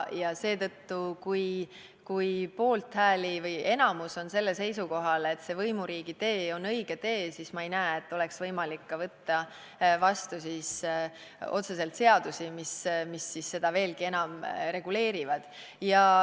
Seetõttu, kui enamik on sellel seisukohal, et võimuriigi tee on õige tee, siis ma ei näe, et oleks võimalik võtta vastu seadusi, mis seda otseselt veelgi enam reguleerivad.